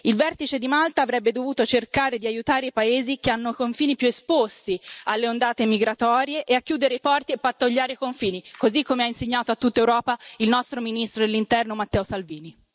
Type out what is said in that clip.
Il vertice di Malta avrebbe dovuto cercare di aiutare i paesi che hanno confini più esposti alle ondate migratorie e a chiudere i porti e pattugliare i confini, così come ha insegnato a tutta Europa il nostro ministro dell'Interno Matteo Salvini.